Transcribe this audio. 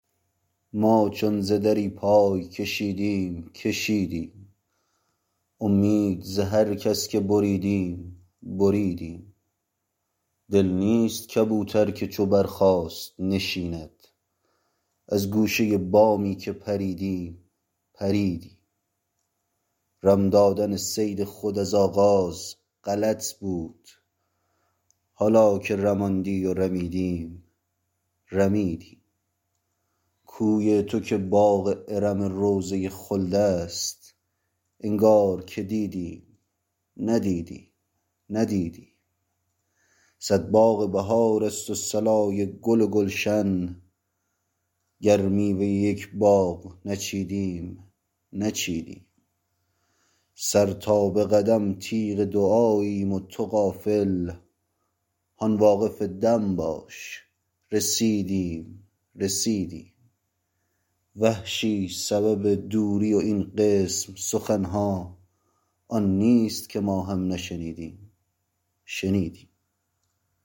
ما چون ز دری پای کشیدیم کشیدیم امید ز هر کس که بریدیم بریدیم دل نیست کبوتر که چو برخاست نشیند از گوشه بامی که پریدیم پریدیم رم دادن صید خود از آغاز غلط بود حالا که رماندی و رمیدیم رمیدیم کوی تو که باغ ارم روضه خلد است انگار که دیدیم ندیدیم ندیدیم صد باغ بهار است و صلای گل و گلشن گر میوه یک باغ نچیدیم نچیدیم سر تا به قدم تیغ دعاییم و تو غافل هان واقف دم باش رسیدیم رسیدیم وحشی سبب دوری و این قسم سخن ها آن نیست که ما هم نشنیدیم شنیدیم